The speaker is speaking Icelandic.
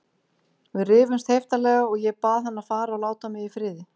Við rifumst heiftarlega og ég bað hann að fara og láta mig í friði.